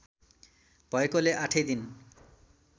भएकोले आठै दिन